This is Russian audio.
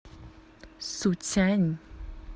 суцянь